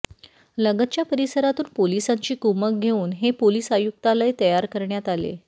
लगतच्या परिसरातून पोलिसांची कुमक घेऊन हे पोलिस आयुक्तालय तयार करण्यात आले